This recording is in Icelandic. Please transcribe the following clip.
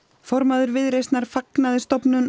formaður Viðreisnar fagnaði